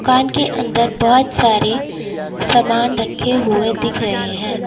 दुकान के अंदर बहुत सारे सामान रखे हुए दिख रहे हैं।